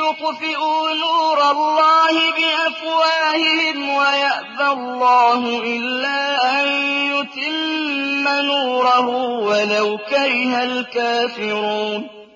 يُطْفِئُوا نُورَ اللَّهِ بِأَفْوَاهِهِمْ وَيَأْبَى اللَّهُ إِلَّا أَن يُتِمَّ نُورَهُ وَلَوْ كَرِهَ الْكَافِرُونَ